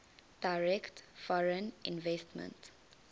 direct foreign investment